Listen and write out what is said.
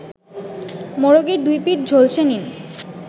মোরগের দুইপিঠ ঝলসে নিন